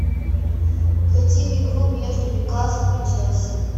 хотим игру между ньюкаслом и челси